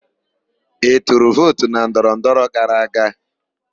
Ị tụrụ vootu na ndọrọndọrọ gara aga?